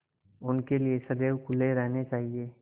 उनके लिए सदैव खुले रहने चाहिए